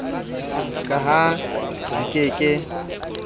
ka ha di ke ke